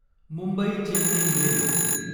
Mumbai Chennai mail